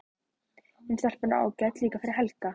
Hin stelpan er ágæt líka fyrir Helga.